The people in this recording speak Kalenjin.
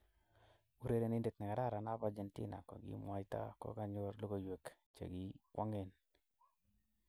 Urerenindet ne kararan ab Argentina kokimwaita kokakonyor logoywek che kikwongen.